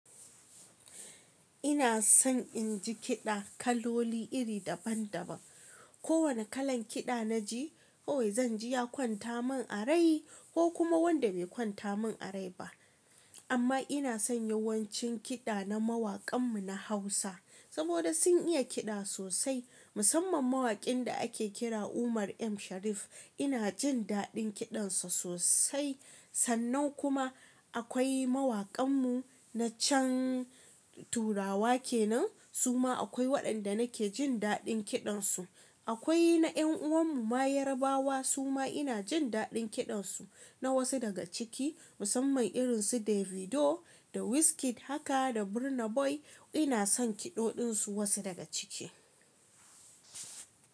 Ina son in ji kiɗa kaloli iri daban daban. Ko wane kalan kiɗa na ji, kawai zan ji ya kwanta min a rai ko kuma wanda bai kwanta min a rai ba. Amma ina son yawancin kiɗa na mawakan mu na Hausa saboda sun iya kiɗa sosai. Musamman mawakin da ake kira Umar M Sharif ina jin daɗin kiɗan sa sosai. Sannan kuma akwai mawakan mu na can Turawa kenan suma akwai waɗanda nake jin daɗin kiɗan su. Akwai na ƴan'uwan mu ma Yarabawa suma ina jin daɗin kiɗan su na wasu daga ciki. Musamman irin su Davido da Wizkid haka da Burna Boy ina son kiɗoɗin su wasu daga ciki.